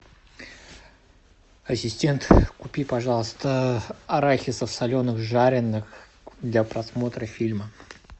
ассистент купи пожалуйста арахисов соленых жареных для просмотра фильма